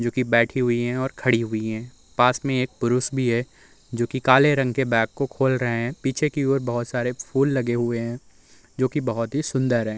जो कि बेठी हुई है ओर खड़ी हुई है। पास में एक पुरुष भी है जो कि काले रंग के बेग को खोल रहे है पीछे की ओर बोहोत सारे फूल लगे हुए हैं जो कि बोहोत ही सुंदर है।